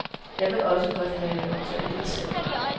Jeg vil også godt have lov til at vælge selv.